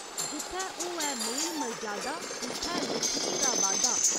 जित्थै होऐ मेल मरजादा, उत्थै लच्छमी दा बाद्धा।